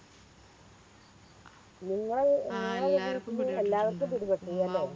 നിങ്ങള്